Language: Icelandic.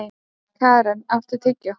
Keran, áttu tyggjó?